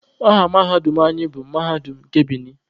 Aha mahadum anyị bụ Mahadum nke Binin.